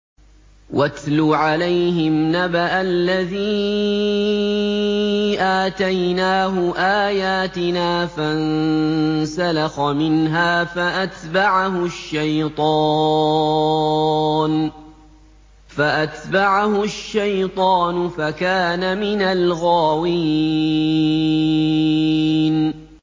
وَاتْلُ عَلَيْهِمْ نَبَأَ الَّذِي آتَيْنَاهُ آيَاتِنَا فَانسَلَخَ مِنْهَا فَأَتْبَعَهُ الشَّيْطَانُ فَكَانَ مِنَ الْغَاوِينَ